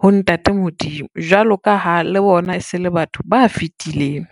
ho ntate Modimo, jwalo ka ha le bona e se le batho ba fitileng.